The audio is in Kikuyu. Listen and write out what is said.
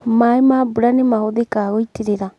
maĩ ma mbura nĩ mahũthĩkaga gũitirĩrĩa.